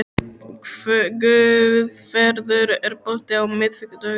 Guðfreður, er bolti á miðvikudaginn?